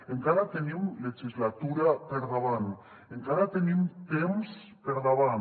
encara tenim legislatura per davant encara tenim temps per davant